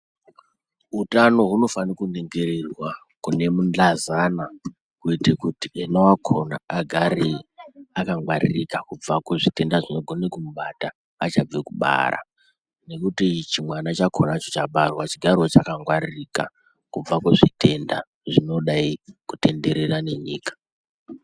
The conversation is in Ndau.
Utano hunofane kuningirirwa kune mundlazana kuite kuri ena wakona agare akangwaririka kubva kuzvitenda zvino gone kumubata achabve kubara, nekuti chimwana chakona chicha barwa chigarewo chaka ngwaririka kubva kuzvitenda zvinodai kutenderera nenyika.